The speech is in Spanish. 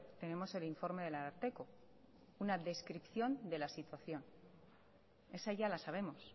tenemos el informe del ararteko una descripción de la situación esa ya la sabemos